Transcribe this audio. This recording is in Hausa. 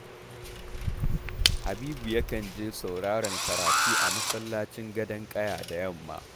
Habibu yakan je sauraron karatu a masallacin Gadon ƙaya da yamma